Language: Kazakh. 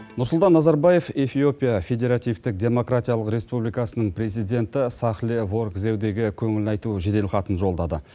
нұрсұлтан назарбаев эфиопия федеративтік демократиялық республикасының президенті сәхлие ворг зердеге көңіл айту жедел хатын жолдады